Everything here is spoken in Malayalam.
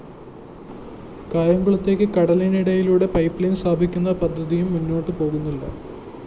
കായംകുളത്തേക്ക് കടലിനടിയിലൂടെ പൈപ്പ്ലൈൻ സ്ഥാപിക്കുന്ന പദ്ധതിയും മുന്നോട്ടു പോകുന്നില്ല